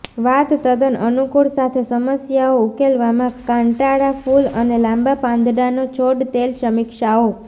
વાળ તદ્દન અનુકૂળ સાથે સમસ્યાઓ ઉકેલવામાં કાંટાળાં ફૂલ અને લાંબા પાંદડાંનો છોડ તેલ સમીક્ષાઓ